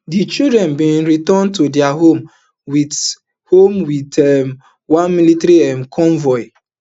di children bin return to dia homes wit homes wit um one military um convoy